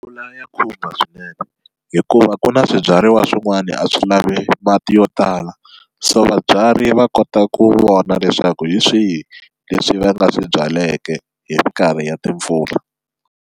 ya khumba swinene hikuva ku na swibyariwa swin'wani a swi lavi mati yo tala, so vabyari va kota ku vona leswaku hi swihi leswi va nga swi byaleke hi minkarhi ya timpfula.